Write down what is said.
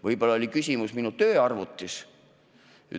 Võib-olla oli küsimus minu tööarvutis.